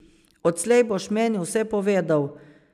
Odslej boš meni vse povedal.